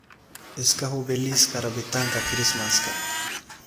iska hubi liiska rabitaanka Kirismaska